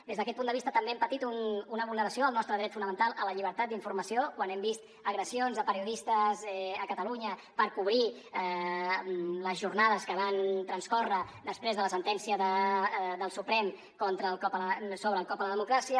des d’aquest punt de vista també hem patit una vulneració del nostre dret fonamental a la llibertat d’informació quan hem vist agressions a periodistes a catalunya per cobrir les jornades que van transcórrer després de la sentència del suprem sobre el cop a la democràcia